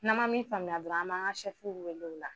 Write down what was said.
N'an ma min faamuya dɔrɔn, an b'an ka wele o la.